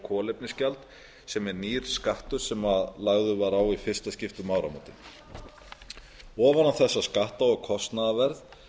kolefnisgjald sem er nýr skattur sem lagður var á í fyrsta skipti um áramótin ofan á þessa skatta og kostnaðarverð